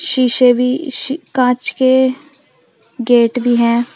शीशे भी शी कांच के गेट भी है।